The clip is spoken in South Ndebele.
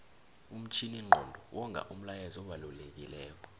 umtjhininqondo wonga umlayezu obalekilelo